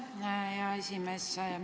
Aitäh, hea aseesimees!